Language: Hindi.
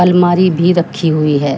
अलमारी भी रखी हुई है।